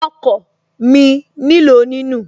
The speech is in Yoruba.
Okọ̀ mi nílò ní nù